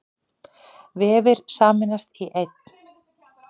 Vefir sameinast í einn